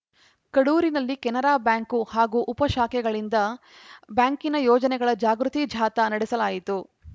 ಕಡೂರಿನಲ್ಲಿ Canara bank ಹಾಗು ಉಪ ಶಾಖೆಗಳಿಂದ ಬ್ಯಾಂಕಿನ ಯೋಜನೆಗಳ ಜಾಗೃತಿ ಜಾಥಾ ನಡೆಸಲಾಯಿತು